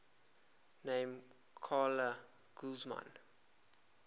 named carla guzman